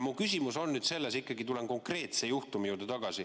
Ma tulen nüüd ikkagi konkreetse juhtumi juurde tagasi.